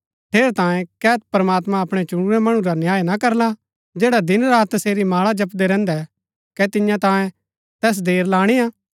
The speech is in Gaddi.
ठेरै तांयें कै प्रमात्मां अपणै चुणुरै मणु रा न्याय न करला जैडा दिनरात तसेरी माळा जपदै रैहन्दै कै तियां तांयें तैस देर लाणीआ